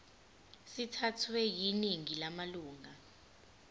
sithathwe yiningi lamalunga